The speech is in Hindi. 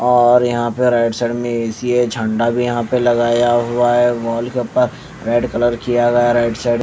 और यहां पे राइट साइड में ए सी है झंडा भी यहां पे लगाया हुआ है वॉल पेपर रेड कलर किया गया है राइट साइड --